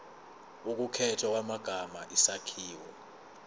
ukukhethwa kwamagama isakhiwo